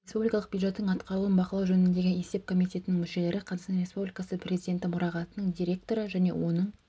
республикалық бюджеттің атқарылуын бақылау жөніндегі есеп комитетінің мүшелері қазақстан республикасы президенті мұрағатының директоры және оның